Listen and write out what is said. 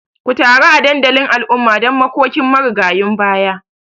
Ku taru a dandalin al'umma don makokin marigayun baya